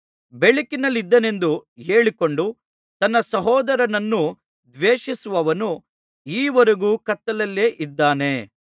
ಬೆಳಕಿನಲ್ಲಿದ್ದೇನೆಂದು ಹೇಳಿಕೊಂಡು ತನ್ನ ಸಹೋದರನನ್ನು ದ್ವೇಷಿಸುವವನು ಈವರೆಗೂ ಕತ್ತಲೆಯಲ್ಲಿದ್ದಾನೆ